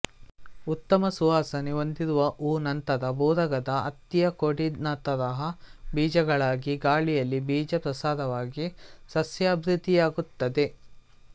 ಉತ್ತಮ ಸುವಾಸನೆ ಹೊಂದಿರುವ ಹೂವು ನಂತರ ಬೂರಗದ ಹತ್ತಿಯಕೊಡಿನತರಹ ಬೀಜಗಳಾಗಿ ಗಾಳಿಯಲ್ಲಿ ಬೀಜ ಪ್ರಸಾರವಾಗಿ ಸಸ್ಯಾಭಿವೃದ್ದಿಯಾಗುತ್ತದೆ